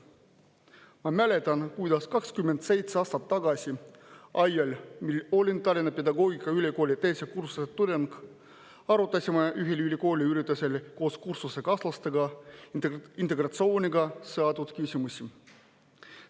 Ma mäletan, kuidas 27 aastat tagasi, ajal, mil ma olin Tallinna Pedagoogikaülikooli teise kursuse tudeng, arutasime ühel ülikooli üritusel koos kursusekaaslastega integratsiooniga seotud küsimusi.